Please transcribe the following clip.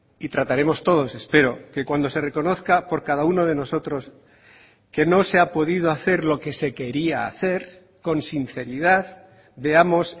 y trataremos todos espero que cuando se reconozca por cada uno de nosotros que no se ha podido hacer lo que se quería hacer con sinceridad veamos